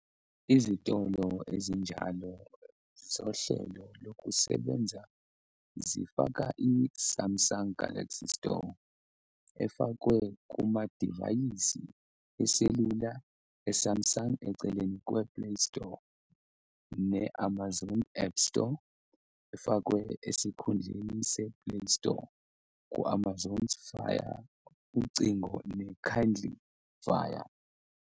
Izitolo ezinjalo zohlelo lokusebenza zifaka i-Samsung Galaxy Store, efakwe kumadivayisi eselula e-Samsung eceleni kwe-Play Store ne-Amazon Appstore, efakwe esikhundleni se-Play Store ku-Amazon's Fire Ucingo ne-Kindle Fire.